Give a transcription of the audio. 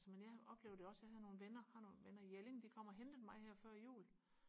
så men jeg oplevede jo også jeg havde nogle venner har nogle venner i Jelling de kom og hentede mig her før jul